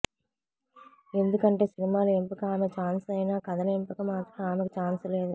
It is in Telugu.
ఎందుకంటే సినిమాల ఎంపిక ఆమె ఛాన్స్ అయినా కథల ఎంపిక మాత్రం ఆమెకు ఛాన్స్ లేదు